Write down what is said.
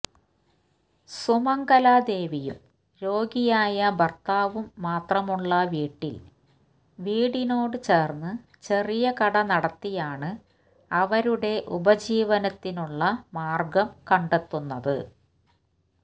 സുമംഗല ദേവിയും രോഗിയായ ഭർത്താവും മാത്രമുള്ള വീട്ടിൽ വീടിനോട് ചേർന്ന് ചെറിയ കട നടത്തിയാണ് അവരുടെ ഉപജീവനത്തിനുള്ള മാർഗം കണ്ടെത്തുന്നത്